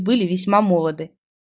были весьма молоды